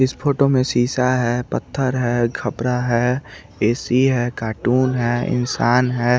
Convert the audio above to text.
इस फोटो में सीसा है पथर है कपड़ा है ऐ_सी है कार्टून है इंसान है।